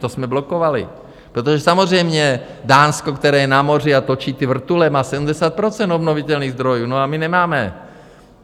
To jsme blokovali, protože samozřejmě Dánsko, které je na moři a točí ty vrtule, má 70 % obnovitelných zdrojů, a my nemáme.